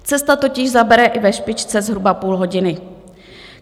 Cesta totiž zabere i ve špičce zhruba půl hodiny.